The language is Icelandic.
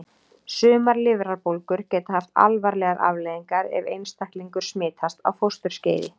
Sumar lifrarbólgur geta haft alvarlegar afleiðingar ef einstaklingur smitast á fósturskeiði.